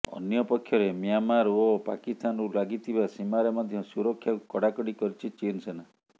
ଅନ୍ୟପକ୍ଷରେ ମ୍ୟାଁମାର ଓ ପାକିସ୍ତାନକୁ ଲାଗିଥିବା ସୀମାରେ ମଧ୍ୟ ସୁରକ୍ଷାକୁ କଡାକଡି କରିଛି ଚୀନ ସେନା